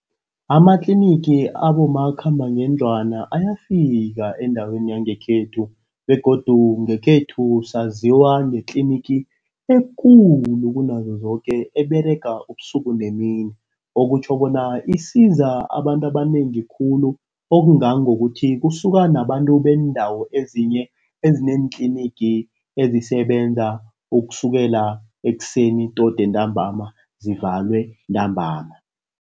Amatlinigi abomakhambangendlwana ayafika endaweni yangekhethu begodu ngekhethu saziwa ngetlinigi ekulu kunazo zoke. Eberega ubusuku nemini, okutjho bona isiza abantu abanengi khulu. Okungangokuthi kusuka nabantu beendawo ezinye ezineentlinigi ezisebenza ukusukela ekuseni todi entambama zivalwe ntambama.